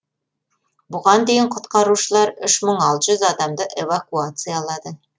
бұған дейін құтқарушылар үш мың алты жүз адамды эвакуациялады